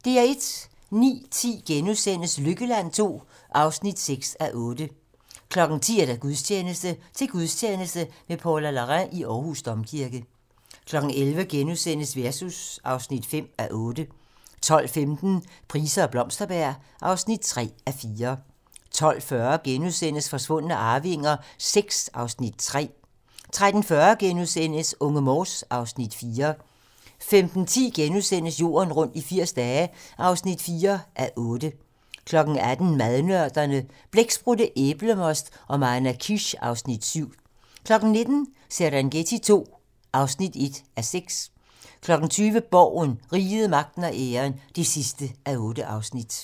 09:10: Lykkeland II (6:8)* 10:00: Gudstjeneste: Til gudstjeneste med Paula Larrain i Aarhus Domkirke 11:00: Versus (5:8)* 12:15: Price og Blomsterberg (3:4) 12:40: Forsvundne arvinger VI (Afs. 3)* 13:40: Unge Morse (Afs. 4)* 15:10: Jorden rundt i 80 dage (4:8)* 18:00: Madnørderne - Blæksprutte, æblemost og manakish (Afs. 7) 19:00: Serengeti II (1:6) 20:00: Borgen - Riget, Magten og Æren (8:8)